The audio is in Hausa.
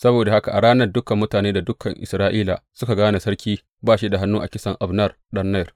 Saboda haka a ranar dukan mutane da dukan Isra’ila suka gane sarki ba shi da hannu a kisan Abner ɗan Ner.